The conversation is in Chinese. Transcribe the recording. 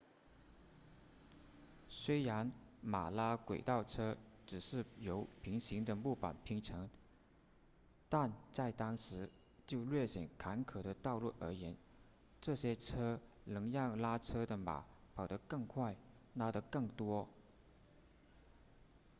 虽然马拉轨道车只是由平行的木板拼成但在当时就略显坎坷的道路而言这些车能让拉车的马跑得更快拉得更多